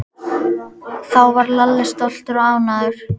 Þá varð Lalli stoltur og ánægður.